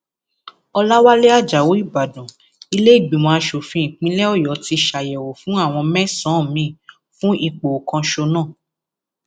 ọlàwálẹ ajáò ìbàdàn ìlèégbìmọ asòfin ìpínlẹ ọyọ ti ṣàyẹwò fún àwọn mẹsànán míín fún ipò kọsánná